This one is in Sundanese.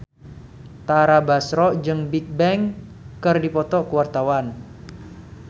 Tara Basro jeung Bigbang keur dipoto ku wartawan